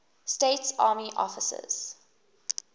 states army officers